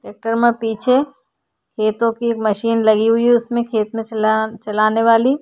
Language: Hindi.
ट्रैक्टर में पीछे खेतों की मशीन लगी हुई है। उसमें खेत में चला चलाने वाली --